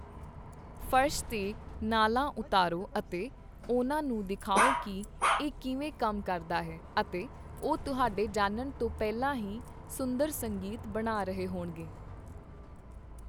ਫਰਸ਼ 'ਤੇ ਨਾਲਾਂ ਉਤਾਰੋ ਅਤੇ ਉਹਨਾਂ ਨੂੰ ਦਿਖਾਓ ਕਿ ਇਹ ਕਿਵੇਂ ਕੰਮ ਕਰਦਾ ਹੈ, ਅਤੇ ਉਹ ਤੁਹਾਡੇ ਜਾਣਨ ਤੋਂ ਪਹਿਲਾਂ ਹੀ ਸੁੰਦਰ ਸੰਗੀਤ ਬਣਾ ਰਹੇ ਹੋਣਗੇ।